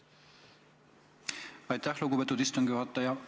Aitäh, lugupeetud istungi juhataja!